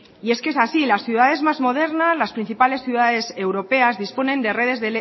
y es que es así las ciudades más modernas las principales ciudades europeas disponen de redes